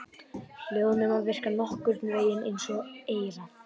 Hljóðnemar virka nokkurn vegin eins og eyrað.